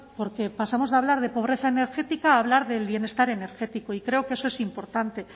porque pasamos de hablar de pobreza energética a hablar del bienestar energético y creo que eso es importante